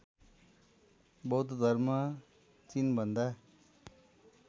बौद्ध धर्म चिनभन्दा